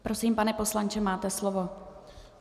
Prosím, pane poslanče, máte slovo.